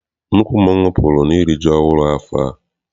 Nnukwu mmọnwu pụrụ n'iri ji ọhụụ afọ a.